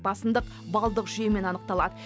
басымдық балдық жүйемен анықталады